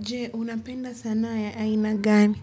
Je, unapenda sanaa ya aina gani?